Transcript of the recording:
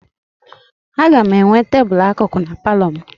A ga-enwe tebụlụ akụkụ na palọ m.